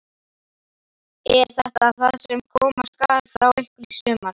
Er þetta það sem koma skal frá ykkur í sumar?